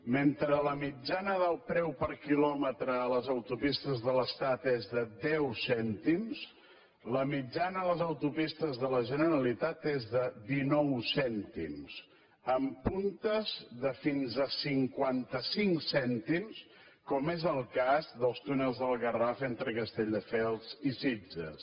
mentre la mitjana del preu per quilòmetre a les autopistes de l’estat és de deu cèntims la mitjana a les autopistes de la generalitat és de dinou cèntims amb puntes de fins a cinquanta cinc cèntims com és el cas dels túnels del garraf entre castelldefels i sitges